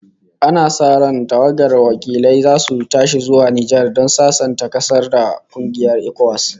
Ana sa ran tawagar wakilai zasu tashi zuwa Nijar don sasanta ƙasar da kungiyar ECOWAS